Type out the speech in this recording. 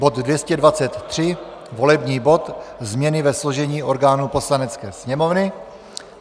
bod 223, volební bod - změny ve složení orgánů Poslanecké sněmovny.